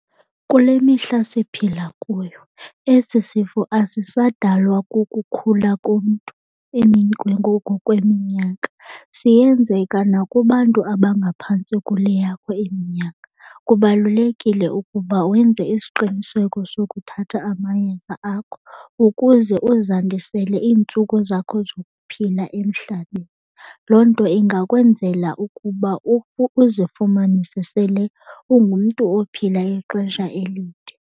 Kule mihla siphila kuyo esi sifo asisadalwa kukukhula komntu ngokweminyaka. Siyenzeka nakubantu abangaphantsi kule yakho iminyaka. Kubalulekile ukuba wenze isiqiniseko sokuthatha amayeza akho ukuze uzandizisele iintsuku zakho zokuphila emhlabeni. Loo nto ingakwenzela ukuba uzifumanise sele ungumntu ophila ixesha elide.